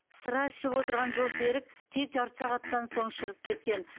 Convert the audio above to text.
сыра ішіп отырған жолсерік тек жарты сағаттан соң шығып кеткен